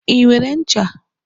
I nwere ncha?